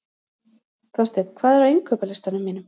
Þorsteinn, hvað er á innkaupalistanum mínum?